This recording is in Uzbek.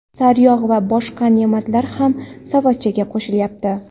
sariyog‘ va boshqa ne’matlar ham savatchaga qo‘shilyapti.